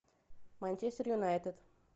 манчестер юнайтед